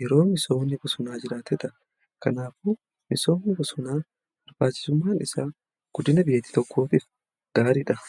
yeroo misoomni bosonaa jiraatedha. Kanaafuu misoomni bosonaa bsrbaachisummaan isaa guddina biyya tokkootif gaariidha.